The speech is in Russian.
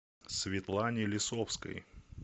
светлане лисовской